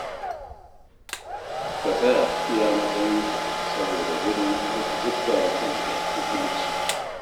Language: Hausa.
Ka tsaya iya matsayinka, saboda gudun kar ka zubda wa kanka mutunci.